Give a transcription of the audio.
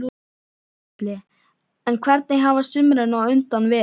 Gísli: En hvernig hafa sumrin á undan verið?